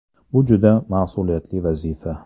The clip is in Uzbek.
Bu juda mas’uliyatli vazifa.